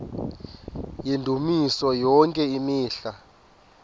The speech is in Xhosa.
yendumiso yonke imihla